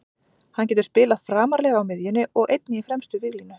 Hann getur spilað framarlega á miðjunni og einnig í fremstu víglínu.